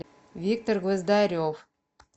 виктор гвоздарев